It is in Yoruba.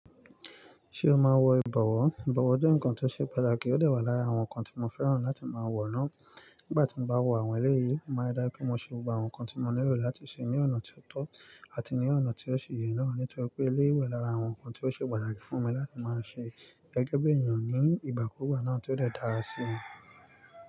Ṣé o máa ń wọ ìbọ̀wọ́? Ìbọ̀wọ́ jẹ́ nǹkan tó ṣe pàtàkì, ó dè wá lára àwọn nǹkan tí mo fẹ́ràn láti máa wọ̀ rán. Nígbà tí mo bá wọ àwọn eléyì, mó máa ń rí dájú pé mo ṣe kí mo ṣe gbogbo àwọn nǹkan tí mo nílò láti ṣe ní ọ̀nà tió tọ́ àti ní ọ̀nà tí ó sì yẹ náà nítorí wípé eléyì wà lára àwọn nǹkan tó ṣe pàtàkì fún mi láti máa ṣe gẹ́gẹ́ bí ènìyàn ní ìgbà kùùgbà náà tí ó dè dára sí mi.